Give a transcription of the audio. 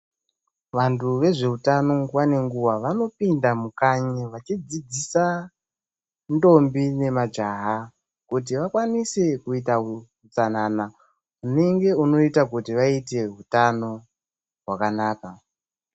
Vantu vezveutano nguva nenguva vanopinda mukanyi vachidzidzisa ndombi nemajaha kuti vakwanise kuita hutsanana, hunenge hunoita kuti vaite hutano hwakanaka.